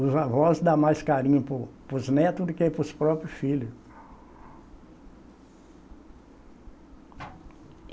Os avós dá mais carinho para os para os netos do que para os próprios filhos.